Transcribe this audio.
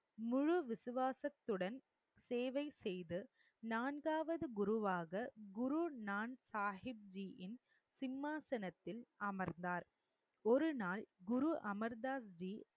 முழு விசுவாசத்துடன் சேவை செய்து நான்காவது குருவாக குரு நான் சாஹிப் ஜியின் சிம்மாசனத்தில் அமர்ந்தார் ஒருநாள் குரு அமர் தாஸ்ஜி